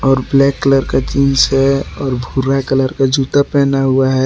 और black colour का jeans है और भूरा कलर का जूता पहना हुआ है।